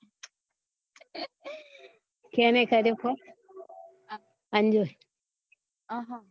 કેને કર્યો phone અંજુ એ આહ